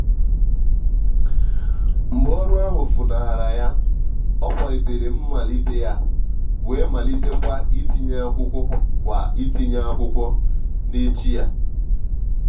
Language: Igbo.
mgbe ọru ahu funaghara ya ọ kwalitere mmalite ya wee malite kwa itinye akwụkwọ kwa itinye akwụkwọ n'echi ya.